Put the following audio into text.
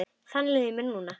Þannig líður mér núna.